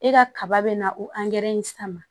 E ka kaba bɛ na o in san ma